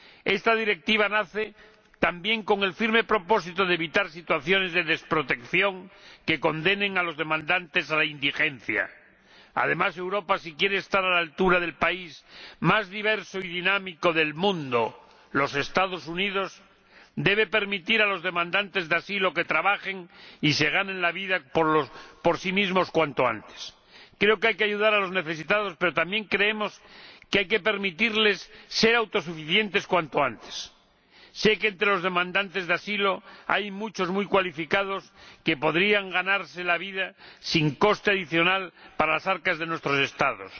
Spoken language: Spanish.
Esta Directiva nace también con el firme propósito de evitar situaciones de desprotección que condenen a los demandantes a la indigencia. Además, si Europa quiere estar a la altura del país más diverso y dinámico del mundo los Estados Unidos debe permitir a los demandantes de asilo que trabajen y se ganen la vida por sí mismos cuanto antes. Creo que hay que ayudar a los necesitados, pero también que hay que permitirles ser autosuficientes cuanto antes. Sé que entre los demandantes de asilo hay muchos muy cualificados que podrían ganarse la vida sin coste adicional para las arcas de nuestros Estados.